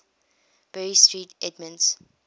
bury st edmunds